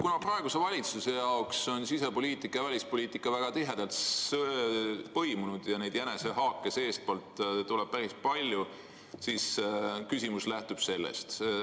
Kuna praeguse valitsuse jaoks on sisepoliitika ja välispoliitika väga tihedalt põimunud ja jänesehaake seestpoolt tuleb päris palju, siis küsimus lähtub sellest.